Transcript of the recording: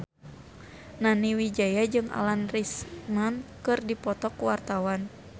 Nani Wijaya jeung Alan Rickman keur dipoto ku wartawan